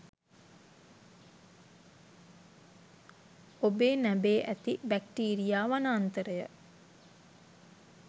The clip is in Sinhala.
ඔබේ නැබේ ඇති බැක්ටීරියා වනාන්තරය